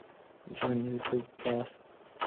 джой ютуб да ст